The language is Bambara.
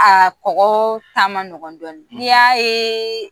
A kɔkɔ ta ma nɔgɔn dɔɔni n'i y'a ye